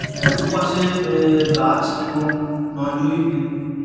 দুপাশে গাছ এবং --